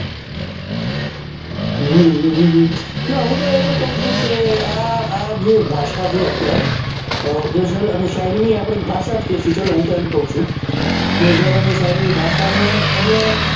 હમ હું તો એ પણ કઉં ચુ કે આ જે ભાષા છે ગઝલ અને શાયરી આપડે એક ભાષા જ કહીશું ચાલો હું તો એમ કઉં છું ગઝલ અને શાયરી ની ભાષા ને તમે,